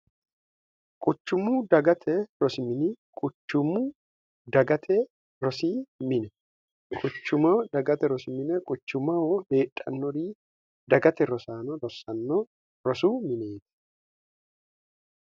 quchummu dagate rosimini quchummu dagate rosii mine kuchumoh dagate rosimine quchumoho leedhannori dagate rosaano rosanno rosu mineeti